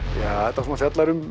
þetta svona fjallar um